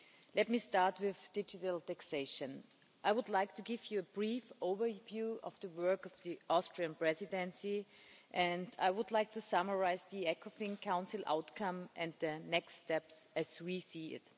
Let me start with digital taxation I would like to give you a brief overview of the work of the Austrian Presidency, and I would like to summarise the Ecofin Council outcome and the next steps, as we see it.